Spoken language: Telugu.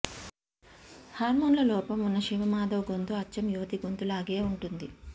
హార్మోన్ల లోపం ఉన్న శివమాధవ్ గొంతు అచ్చం యువతి గొంతులాగే ఉంటుంది